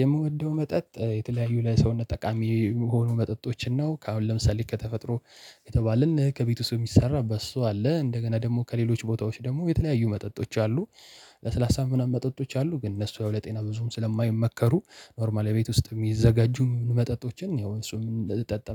የምወደው መጠጥ የተለያዩ ለሰውነት ጠቃሚ የሚሆኑ መጠጦችን ነው አሁን ለምሳሌ ከተፈጥሮ የተባለን ከቤት ውስጥ እሚሰራ በሶ አለ እንደገና ደግሞ ከሌሎች ቦታዎች ደግሞ የተለያዩ መጠጦች አሉ። ለስላሳ ምናምን መጠጦች አሉ ግን እነሱ ያው ለጤና ብዙም ስለማይመከሩ ኖርማል ቤት ውስጥ የሚዘጋጁ መጠጦችን ያው እሱን